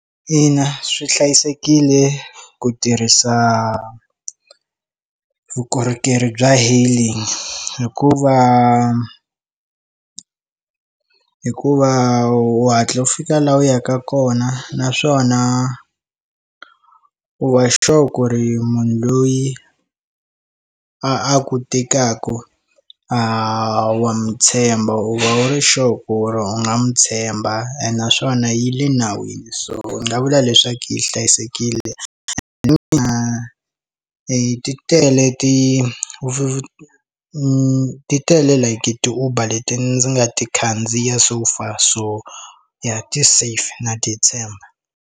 Ina swi hlayisekile ku tirhisa vukorhokeri bya hailing hikuva hikuva wu hatli u fika laha u yaka kona naswona u va sure ku ri munhu loyi a ku tekaku wa n'wi tshemba u va u ri sure u nga n'wi tshemba ene naswona yi le nawini so ndzi nga vula leswaku yi hlayisekile and mina i titele ti ni ti tele leti ti uber leti ndzi nga ti khandziya so far so ya ti safe na ti tshemba.